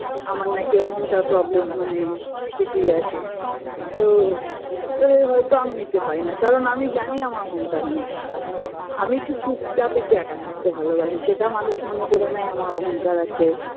আমার নাকি অহংকার problem মানে কিছুই আসে তো তাদের হয়তো আমি নিতে পারিনা কারণ আমি জানি আমার অহংকার নেই আমি একটু চুপচাপ একটু একা থাকতে ভালোবাসি সেটা মানুষ মনে করে নেয় আমার অহংকার আছে